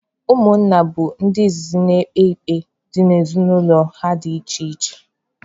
Ụmụnna bụ ndị izizi na-ekpe ikpe dị n'ezinụlọ ha dị iche iche